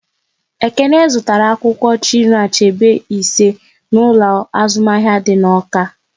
Ekene zụtara akwụkwọ Chinua Achebe ise n'ụlọ azụmahịa dị n'Awka